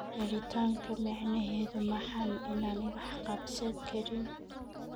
Yaritanka micnahedu maxan inan waxkabsankarin.